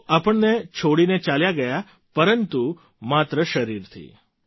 તેઓ આપણને છોડીને ચાલ્યા ગયા પરંતુ માત્ર શરીરથી